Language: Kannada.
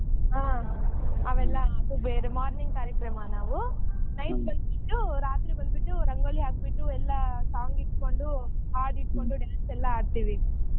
ಹಾ ಅವೆಲ್ಲಾ ಅದು ಬೇರೆ morning ಕಾರ್ಯಕ್ರಮನ ನಾವ್ night ಬಂದ್ಬಿಟ್ಟು ರಾತ್ರಿ ಬಂದ್ಬಿಟ್ಟು ರಂಗೋಲಿ ಹಾಕಬಿಟ್ಟು ಎಲ್ಲಾ song ಇಟ್ಕೊಂಡು ಹಾಡ್ ಇಟ್ಕೊಂಡು dance ಎಲ್ಲಾ ಆಡ್ತೀವಿ.